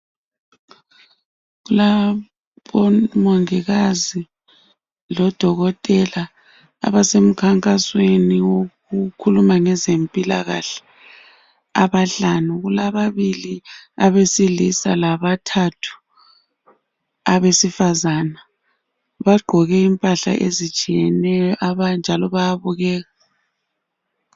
Kulabomongikazi lodokotela abasemkhankasweni wokukhuluma ngempilakahle abahlanu kukababili owesilisa labathathu abesifazana bagqoke impahla ezitshiyeneyo njalo bayabukeka.